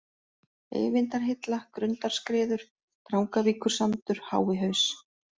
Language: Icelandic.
Eyvindarhilla, Grundarskriður, Drangavíkursandur, Háihaus